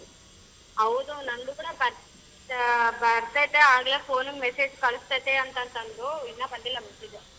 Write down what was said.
ಹೌದು ನಂದು ಕೂಡ ಬಂದ ಹಾ ಬ~ ಬರತೈತೆ ಆಗಲೇ phone ಗ್ message ಕಳಿಸ್ತಾಯಿತೇ ಅಂತಂದ್ರು ಇನ್ನ ಬಂದಿಲ್ಲ message.